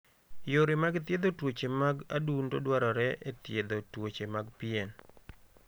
Yore mag thiedho tuoche mag adundo dwarore e thiedho tuoche mag pien.